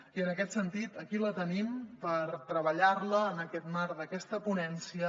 i en aquest sentit aquí la tenim per treballar la en aquest marc d’aquesta ponència